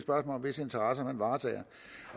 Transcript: om hvis interesser man varetager